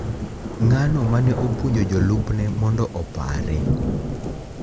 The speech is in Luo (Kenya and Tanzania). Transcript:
Ng’ano mane opuonjo jolupne mondo opare .